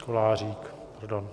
Kolářík, pardon.